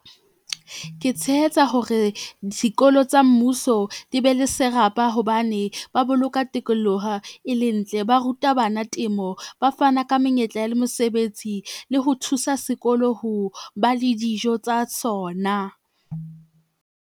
Ke tshehetsa hore dikolo tsa mmuso di be le serapa hobane ba boloka tikoloho e le ntle, ba ruta bana temo, ba fana ka menyetla le mosebetsi le ho thusa sekolo ho ba le dijo tsa sona.